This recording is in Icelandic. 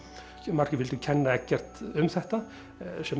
margir vildu kenna Eggert um þetta sem